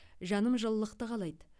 жаным жылылықты қалайды